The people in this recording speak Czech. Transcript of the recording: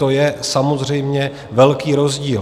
To je samozřejmě velký rozdíl.